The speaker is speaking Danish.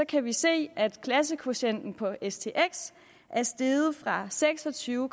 kan vi se at klassekvotienten på stx er steget fra seks og tyve